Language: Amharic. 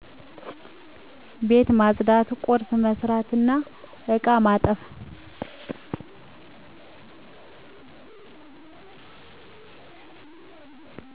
ቤት ማፅዳት፣ ቁርስ መስራትናእቃ ማጠብ